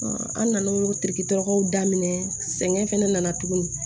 an nan'o daminɛ sɛgɛn fɛnɛ nana tuguni